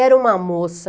Era uma moça...